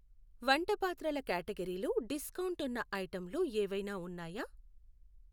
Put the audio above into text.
వంటపాత్రల క్యాటగరీలో డిస్కౌంట్ ఉన్న ఐటెంలు ఏవైనా ఉన్నాయా?